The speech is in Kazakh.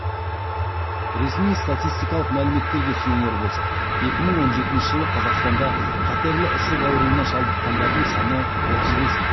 ресми статистикалық мәліметтерге сүйенер болсақ екі мың он жетінші жылы қазақстанда қатерлі ісік ауруына шалдыққандардың саны отыз бес мың